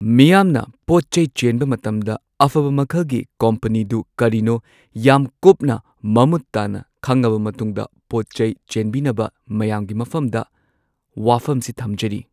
ꯃꯤꯌꯥꯝꯅ ꯄꯣꯠꯆꯩ ꯆꯦꯟꯕ ꯃꯇꯝꯗ ꯑꯐꯕ ꯃꯈꯜꯒꯤ ꯀꯣꯝꯄꯅꯤꯗꯨ ꯀꯔꯤꯅꯣ ꯌꯥꯝ ꯀꯨꯞꯅ ꯃꯃꯨꯠ ꯇꯥꯅ ꯈꯪꯉꯕ ꯃꯇꯨꯡꯗ ꯄꯣꯠꯆꯩ ꯆꯦꯟꯕꯤꯅꯕ ꯃꯌꯥꯝꯒꯤ ꯃꯐꯝꯗ ꯋꯥꯐꯝꯁꯤ ꯊꯝꯖꯔꯤ